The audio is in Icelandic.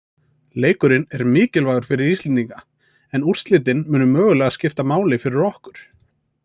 Leikurinn er mikilvægur fyrir Íslendinga, en úrslitin munu mögulega skipta máli fyrir okkur.